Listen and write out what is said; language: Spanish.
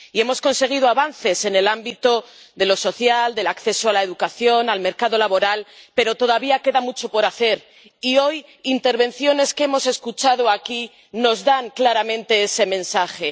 Y hemos conseguido avances en el ámbito de lo social, del acceso a la educación, al mercado laboral, pero todavía queda mucho por hacer y, hoy, intervenciones que hemos escuchado aquí nos dan claramente ese mensaje.